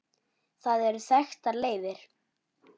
Það eru til þekktar leiðir.